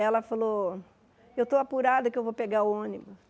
Ela falou, eu estou apurada que eu vou pegar o ônibus.